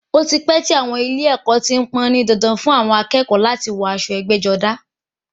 Ó ti pẹ́ tí àwọn ilé ẹ̀kọ́ ti pọn-ọ́n ní dandan fún àwọn akẹ́kọ̀ọ́ láti máa wọ aṣọ ẹgbẹ́-jọdá.